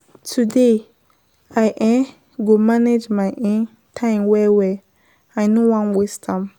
Today, I um go manage my um time well-well, I no wan waste am.